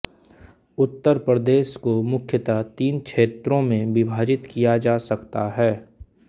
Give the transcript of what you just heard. उत्तर प्रदेश को मुख्यतः तीन क्षेत्रों में विभाजित किया जा सकता है